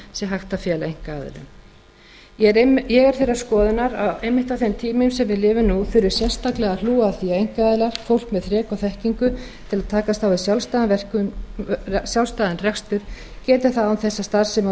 sé hægt að fela einkaaðilum ég er þeirrar skoðunar að einmitt á þeim tímum sem við lifum nú þurfi sérstaklega að hlúa að því að fólk með þrek og þekkingu til að takast á við sjálfstæðan rekstur geti það án þess að starfsemi á